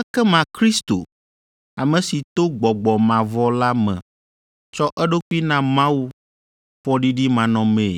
ekema Kristo, ame si to Gbɔgbɔ mavɔ la me tsɔ eɖokui na Mawu fɔɖiɖimanɔmee